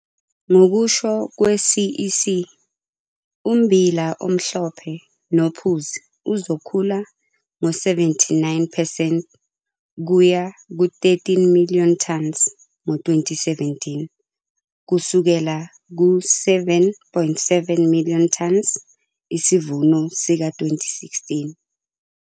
Ngokusho kwe-CEC, ummbila omhlophe nophuzi uzokhula ngo-79 percent kuya ku-13, million tons ngo-2017 kusukela ku-7,7 million tons isivuno sika-2016.